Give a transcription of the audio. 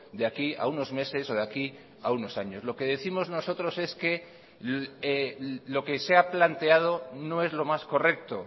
de aquí a unos meses o de aquí a unos años lo que décimos nosotros es que lo que se ha planteado no es lo más correcto